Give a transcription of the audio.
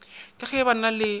ke ge ba na le